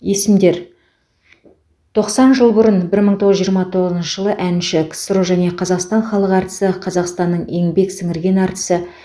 есімдер тоқсан жыл бұрын бір мың тоғыз жүз жиырма тоғызыншы жылы әнші ксро және қазақстан халық әртісі қазақстанның еңбек сіңірген әртісі